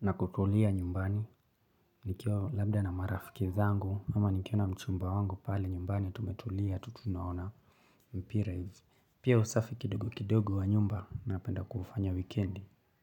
Na kutulia nyumbani. Nikiwa labda na marafiki zangu ama nikiona mchumba wangu pale nyumbani tumetulia tutunaona mpira hizi. Pia usafi kidogo kidogo wa nyumba napenda kuufanya wikendi.